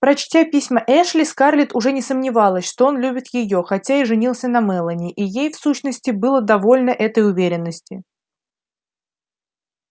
прочтя письма эшли скарлетт уже не сомневалась что он любит её хотя и женился на мелани и ей в сущности было довольно этой уверенности